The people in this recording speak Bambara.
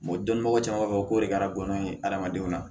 dɔnbaga caman b'a fɔ ko de kɛra gɔnɔ in ye adamadenw na